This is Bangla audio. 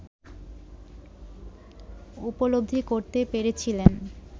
উপলব্ধি করতে পেরেছিলেন